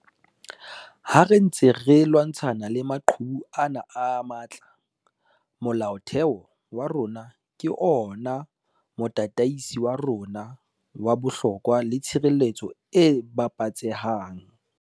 Ha re ntse re lwantshana le maqhubu ana a matla, Molaotheo wa rona ke ona motataisi wa rona wa bohlokwa le tshireletso e babatsehang.